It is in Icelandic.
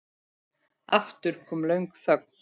Aftur kom löng þögn.